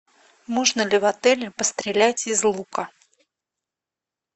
можно ли в отеле пострелять из лука